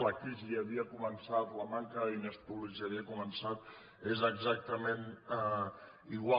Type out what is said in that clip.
la crisi ja havia començat la manca de diners públics ja havia començat és exactament igual